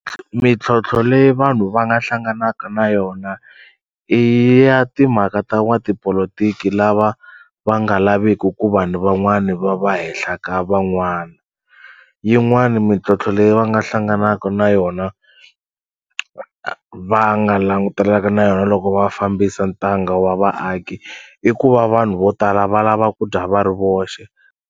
Mintlhontlho leyi vanhu va nga hlanganaka na yona i ya timhaka ta n'watipolotiki lava va nga laveki ku vanhu van'wani va va hehla ka van'wana, yin'wani mintlhontlho leyi va nga hlanganaka na yona va nga langutelaka na yona loko va fambisa ntanga wa vaaki i ku va vanhu vo tala va lava ku dya va ri voxe.